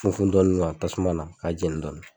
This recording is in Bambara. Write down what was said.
Funfun dɔɔni wa tasumana k'a jeni dɔɔni.